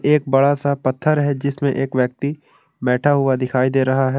एक बड़ा सा पत्थर है जिसमें एक व्यक्ति बैठा हुआ दिखाई दे रहा है।